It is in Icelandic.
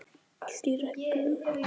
Allt í rugli!